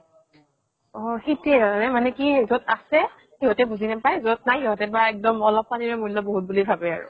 অʼ সেইতোৱে হয়, মানে কি, যʼত আছে, সিহঁতে বুজি নাপাই । যʼত নাই সিহঁতে বা অলপ পানীৰে মুল্য় বহুত বুলি ভাবে আৰু।